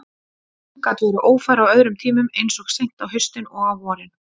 Hún gat verið ófær á öðrum tímum, eins og seint á haustin og á vorin.